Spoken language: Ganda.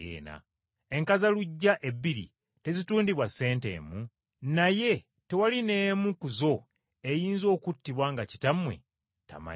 Enkazaluggya ebbiri tezigula sente emu? Naye tewali n’emu ku zo eyinza okuttibwa nga Kitammwe tamanyi.